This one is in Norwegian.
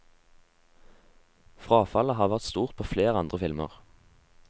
Frafallet har vært stort på flere andre filmer.